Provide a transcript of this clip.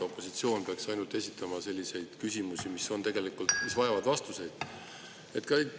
Opositsioon peaks esitama ainult selliseid küsimusi, mis tegelikult vajavad vastuseid.